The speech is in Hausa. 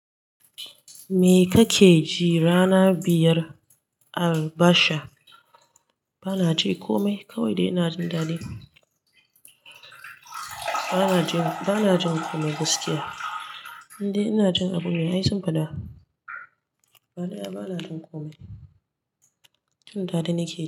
Me kake ji rana biyar albasha? Bana ji komai, kawai dai ina jin daɗi. Bana jin, bana jin komai gaskiya. Indai ina jin abu mai aisin faɗa. Gaba daya, bana jin komai. Jin daɗi nake yi.